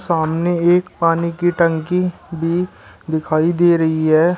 सामने एक पानी की टंकी भी दिखाई दे रही है।